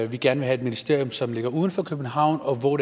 vil gerne have et ministerium som ligger uden for københavn hvor